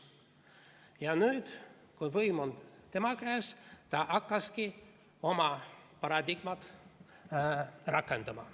Ja nüüd, kui võim on tema käes, ta hakkaski oma paradigmat rakendama.